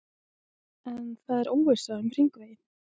En það er óvissa um hringveginn?